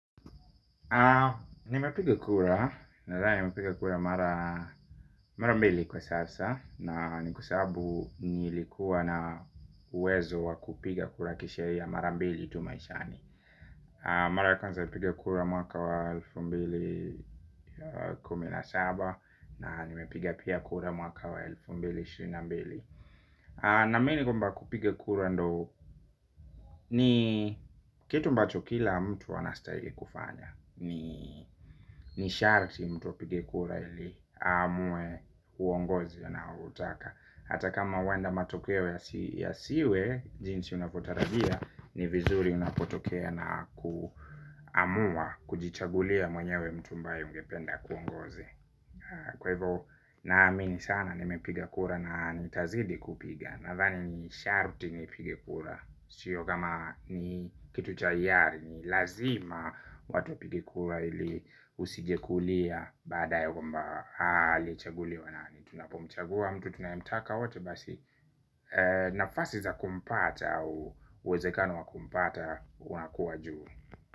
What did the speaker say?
Nimepiga kura nadhani nimepiga kura mara mbili kwa sasa na ni kwa sababu nilikuwa na uwezo wa kupiga kura kisheria mara mbili tu maishani. Mara ya kwanza nilipiga kura mwaka wa elfu mbili kumi na saba na nimepiga pia kura mwaka wa elfu mbili ishirina na mbili. Naamini kwamba kupiga kura ndo ni kitu ambacho kila mtu anastahili kufanya. Ni sharti mtu apige kura ili aamue uongozi anaoutaka. Hata kama huenda matokeo ya siwe jinsi unavyotarajia ni vizuri unapotokea na kuamua kujichagulia mwenyewe mtu ambaye ungependa akuongoze. Kwa hivyo naamini sana nimepiga kura na nitazidi kupiga. Nadhani ni sharti nipigekura. Shio kama ni kitu cha hiari ni lazima watu wapige kura ili usije kulia. Baada ya kumba hali chaguli wanani tunapomchagua mtu tunayemtaka wate basi nafasi za kumpata au uwezekano wa kumpata unakuwa juu.